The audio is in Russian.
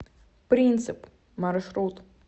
принцип маршрут